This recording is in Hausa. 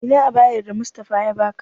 Ina ayabar da Mustapha ya baka?